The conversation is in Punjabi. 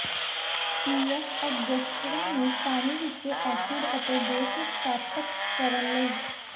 ਪੀ ਐੱਫ਼ ਅਡਜੱਸਟਰਾਂ ਨੂੰ ਪਾਣੀ ਵਿੱਚ ਐਸਿਡ ਅਤੇ ਬੇਸ ਸਥਾਪਤ ਕਰਨ ਲਈ